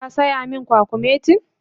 Shin ka sayi min kwakumetin?